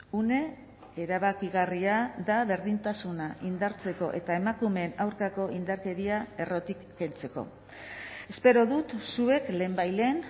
une erabakigarria da berdintasuna indartzeko eta emakumeen aurkako indarkeria errotik kentzeko espero dut zuek lehenbailehen